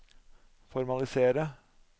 formalisere